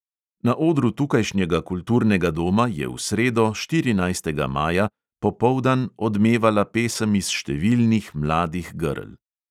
Na odru tukajšnjega kulturnega doma je v sredo, štirinajstega maja, popoldan odmevala pesem iz številnih mladih grl.